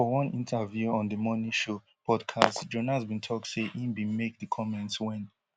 for one interview on di money show podcast jonas bin tok say im bin make di comments wen